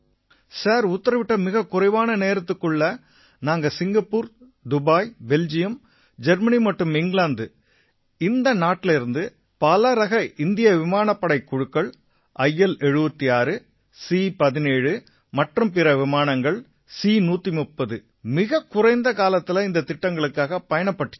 sir உத்திரவிட்ட மிகக் குறைவான நேரத்துக்குள்ளா நாங்க சிங்கப்பூர் துபாய் பெல்ஜியம் ஜெர்மனி மற்றும் இங்கிலாந்து இந்த இடங்கள் அனைத்திலயும் பலரக இந்திய விமானப்படைக் குழுக்கள் IL76 C17 மற்றும் பிற விமானங்கள் C130 எல்லாம் மிகக் குறைந்த காலத்தில இந்தத் திட்டங்களுக்காகப் பயணப்பட்டிச்சு